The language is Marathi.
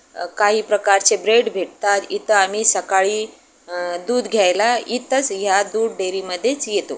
अं काही प्रकारचे ब्रेड भेटतात. इथं आम्ही सकाळी अं दूध घ्यायला या दूध डेअरी मध्येच येतो.